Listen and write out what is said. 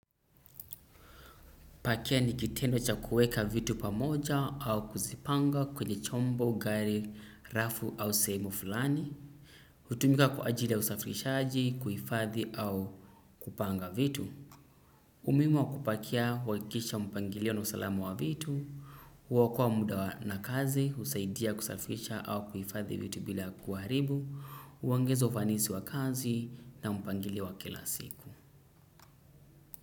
Pakia ni kitendo cha kuweka vitu pamoja au kuzipanga kwenye chombo, gari, rafu au sehemu fulani. Hutumika kwa ajili ya usafirishaji, kuifadhi au kupanga vitu. Umuhimu wa kupakia, huwakikisha mpangilio na usalamu wa vitu. Kuakoa muda na kazi, husaidia kusafirisha au kuifadhi vitu bila kuaribu. Uongeza ufanisi wa kazi na mpangilio wa kila siku.